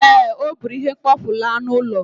Ee, o buru ihe mkpofu laa n'ụlọ